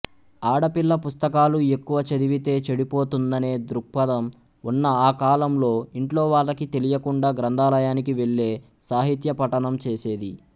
ఆడపిల్ల పుస్తకాలు ఎక్కువ చదివితే చెడిపోతుందనే దృక్పథం ఉన్న ఆ కాలంలో ఇంట్లోవాళ్ళకి తెలియకుండా గ్రంథాలయానికి వెళ్ళే సాహిత్యపఠనం చేసేది